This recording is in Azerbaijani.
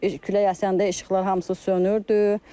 Külək əsəndə işıqlar hamısı sönürdü.